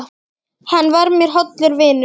Hann var mér hollur vinur.